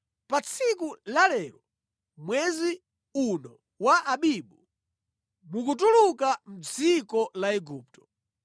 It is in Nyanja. Pa tsiku la lero mwezi uno wa Abibu, mukutuluka mʼdziko la Igupto.